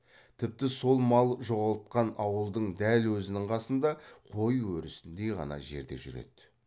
тіпті сол мал жоғалтқан ауылдың дәл өзінің қасында қой ерісіндей ғана жерде жүреді